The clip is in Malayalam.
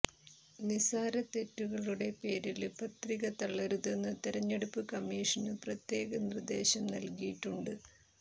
നിസ്സാരതെറ്റുകളുടെ പേരില് പത്രിക തള്ളരുതെന്ന് തെരഞ്ഞെടുപ്പ് കമ്മിഷന് പ്രത്യേക നിര്ദേശം നല്കിയിട്ടുണ്ട്